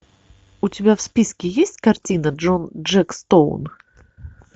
у тебя в списке есть картина джон джек стоун